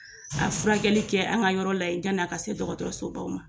A furakɛli kɛ an ka yɔrɔ la yani a ka se dɔgɔtɔrɔsobaw ma